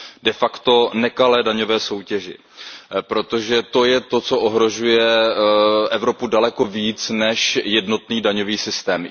De facto nekalé daňové soutěži, protože to je to, co ohrožuje Evropu daleko více než jednotný daňový systém.